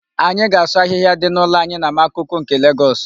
Anyị ga-asụ ahịhịa dị n'ụlọ anyị na Makoko nke Legọs.